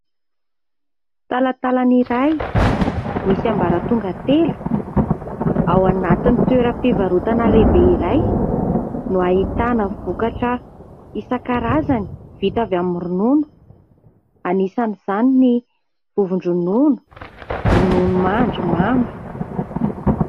Talantalan'iray misy ambaratonga telo ao anatiny toeram-pivarotana lehibe iray, no ahitana vokatra isan-karazany vita avy amin'ny ronono anisan'izany ny vovo-dronono, rononomandry mamy.